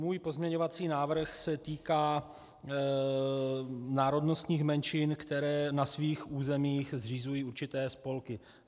Můj pozměňovací návrh se týká národnostních menšin, které na svých územích zřizují určité spolky.